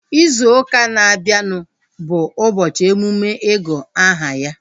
Izu ụka na-abịanụ bụ ụbọchị emume igu aha ya